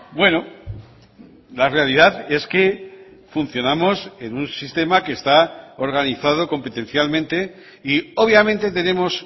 bueno la realidad es que funcionamos en un sistema que está organizado competencialmente y obviamente tenemos